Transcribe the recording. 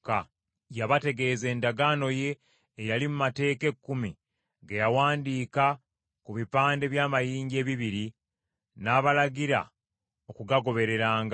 Yabategeeza endagaano ye eyali mu Mateeka Ekkumi, ge yawandiika ku bipande by’amayinja ebibiri, n’abalagira okugagobereranga.